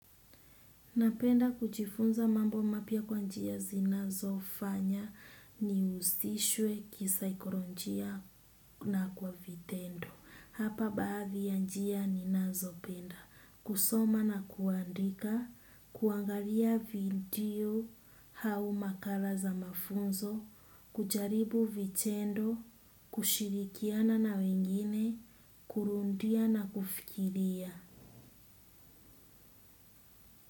Napenda kujifunza mambo mapya kwa njia zinazofanya nihusishwe kisaikolojia na kwa vitendo. Hapa baadhi ya njia ninazopenda. Kusoma na kuandika, kuangalia video au makala za mafunzo, kujaribu vitendo, kushirikiana na wengine, kurudia na kufikiria.